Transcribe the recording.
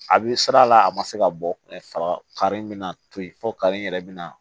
A bɛ sira la a ma se ka bɔ saga kari in bɛ na toyi fo kare in yɛrɛ bɛna